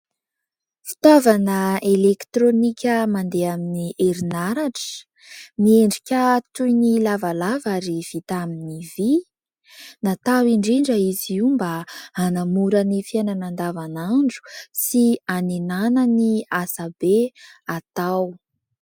Fitaovana elektronika mandeha amin'ny herinaratra : miendrika toy ny lavalava ary vita amin'ny vy ; natao indrindra izy io mba hanamora ny fiainana an-davanandro sy hanenana ny asa be atao.